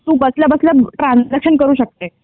तू बसल्या बसल्या ट्रांझॅक्शन करू शकते.